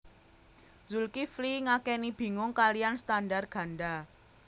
Zulkifli ngakeni bingung kaliyan standar ganda